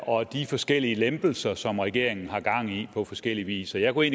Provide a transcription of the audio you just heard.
og de forskellige lempelser som regeringen har gang i på forskellig vis så jeg kunne